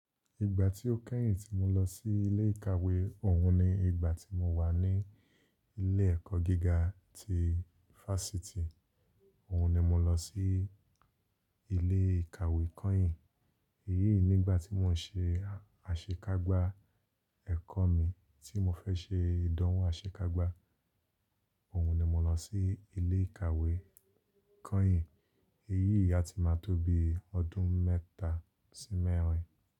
Ìgbà tí ó kẹ́yìn tí mo lọ sí ilé ìkàwé, òhun ni ìgbà tí mo wà ní ilé ẹ̀kọ́ gíga ti Fásitì, òhun ni mo lọ sí ilé ìkàwé kányìn. Eyíì, nígbà tí mò ń se àṣekágbá ẹ̀kọ́ mi tí mo fẹ́ se ìdánwò aṣekágbá, òhun ni mo lọ sí ilé ìkàwé kányìn. Eyíì a ti máa tóbi ọdún mẹ́ta sí mẹ́rin.